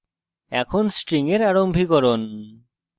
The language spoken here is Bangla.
এখন string এর আরম্ভীকরণ নিয়ে আলোচনা করব